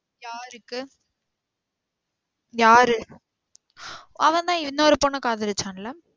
யாருக்கு? யாரு? அவன்தான் இன்னொரு பொண்ணா கதளிச்சன்ல?